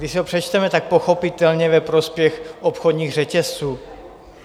Když si to přečteme, tak pochopitelně ve prospěch obchodních řetězců.